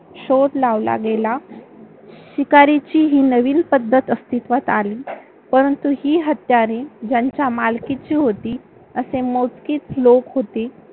शोध लावला गेला. शिकारीची ही नवीन पद्धत अस्तित्वात आली. परंतु, ही हत्यारे ज्यांच्या मालकीची होती, असे मोजकीच लोक होती.